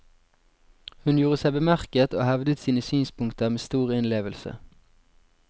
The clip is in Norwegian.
Hun gjorde seg bemerket og hevdet sine synspunkter med stor innlevelse.